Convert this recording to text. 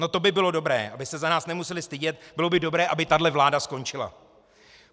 - No to by bylo dobré, aby se za nás nemusely stydět, bylo by dobré, aby tahle vláda skončila.